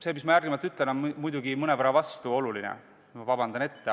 See, mis ma järgmisena ütlen, on muidugi mõnevõrra vastuoluline – palun juba ette vabandust!